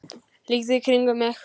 Lít í kringum mig.